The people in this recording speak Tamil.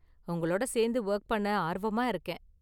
உங்களோட சேர்ந்து ஒர்க் பண்ண ஆர்வமா இருக்கேன்.